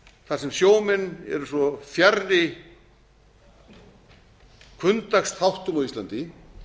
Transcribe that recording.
þar sem sjómenn eru svo fjarri hvunndagsþáttum á íslandi